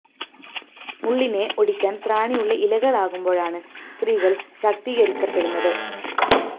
മുള്ളിനെ ഒടിക്കാന്‍ ത്രാണിയുള്ള ഇലകളാകുമ്പോഴാണ് സ്ത്രീകള്‍ ശാക്തീകരിക്കപ്പെടുന്നത്